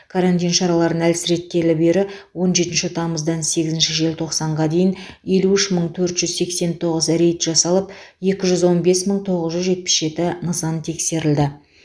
карантин шараларын әлсіреткелі бері он жетінші тамыздан сегізінші желтоқсанға дейін елу үш мың төрт жүз сексен тоғыз рейд жасалып екі жүз он бес мың тоғыз жүз жетпіс жеті нысан тексерілді